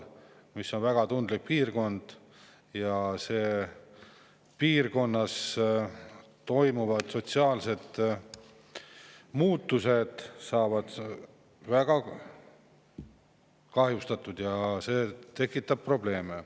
Aga see on väga tundlik piirkond, seal toimuvad sotsiaalsed muutused ja kui saab kahjustatud, siis see tekitab probleeme.